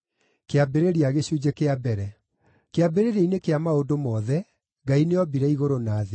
Kĩambĩrĩria-inĩ kĩa maũndũ mothe, Ngai nĩombire igũrũ na thĩ.